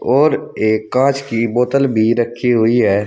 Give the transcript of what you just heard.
और एक कांच की बोतल भी रखी हुई है।